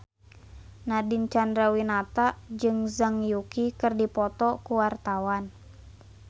Nadine Chandrawinata jeung Zhang Yuqi keur dipoto ku wartawan